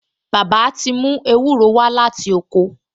Bàbá ti mú ewúro wá láti oko